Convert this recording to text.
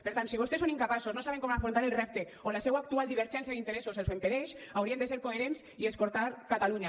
per tant si vostès són incapaços no saben com afrontar el repte o la seua actual divergència d’interessos els ho impedeix haurien de ser coherents i escoltar catalunya